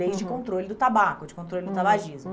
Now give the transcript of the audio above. Leis de controle do tabaco, de controle do tabagismo.